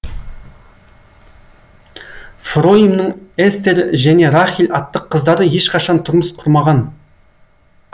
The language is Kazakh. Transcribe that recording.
фроимның эстер және рахель атты қыздары ешқашан тұрмыс құрмаған